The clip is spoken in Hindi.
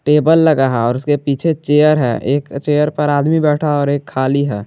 टेबल लगा है और उसके पीछे चेयर है एक चेयर पे आदमी बैठा और एक खाली है।